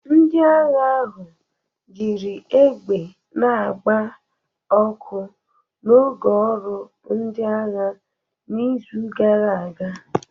Ndị agha ahụ jiri egbe na-agba ọkụ n'oge ọrụ ndị agha n'izu gara aga.